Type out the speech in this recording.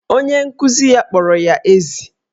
Onye nkuzi ya kpọrọ ya ezi.